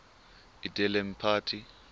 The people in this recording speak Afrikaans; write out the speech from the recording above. edele mpati